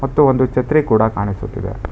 ಮತ್ತು ಒಂದು ಛತ್ರಿ ಕೂಡ ಕಾಣಿಸುತ್ತಿದೆ.